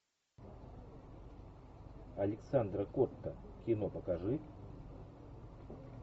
александра котта кино покажи